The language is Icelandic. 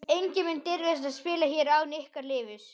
Enginn mun dirfast að spila hér án ykkar leyfis.